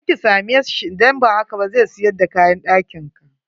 Je ki same sbhi, idan ba haka ba zai siyar da kayan ɗakin ka.